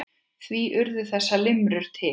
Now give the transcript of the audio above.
Því urðu þessar limrur til.